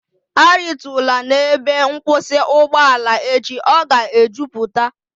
A ritula n'ebe nkwụsị ugboala echi, ọ ga e jupụta!